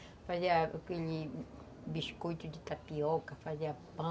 Fazia aquele biscoito de tapioca, fazia pão.